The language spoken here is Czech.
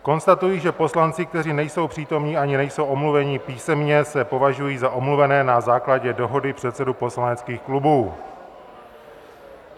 Konstatuji, že poslanci, kteří nejsou přítomni ani nejsou omluveni písemně, se považují za omluvené na základě dohody předsedů poslaneckých klubů.